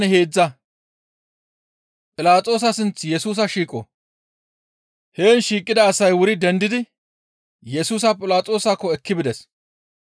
Heen shiiqida asay wuri dendidi Yesusa Philaxoosakko ekki bides.